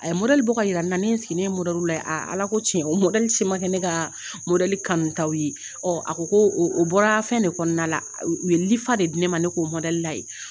A ye ka yira n na ne ye n sigi ye lajɛ ALA ko tiɲɛ o si ma kɛ ne ka kanutaw ye a ko ko o bɔra fɛn de kɔnɔna la u ye lifa de di ne ma ne k'o lajɛ .